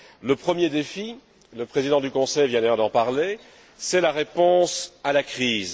Le premier défi le président du Conseil vient d'en parler c'est la réponse à la crise.